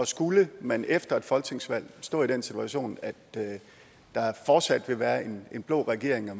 skulle man efter et folketingsvalg stå i den situation at der fortsat vil være en blå regering og